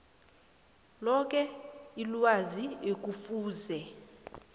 loke ilwazi ekufuze